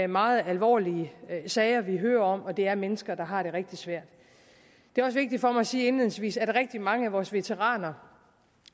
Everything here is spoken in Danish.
meget alvorlige sager vi hører om og det er mennesker der har det rigtig svært det er også vigtigt for mig at sige indledningsvis at rigtig mange af vores veteraner